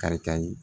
Kari kari